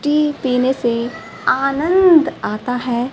T पीने से आनंद आता है।